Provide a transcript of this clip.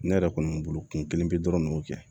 Ne yɛrɛ kɔni bolo kun kelen bɛ dɔrɔn ne kɛ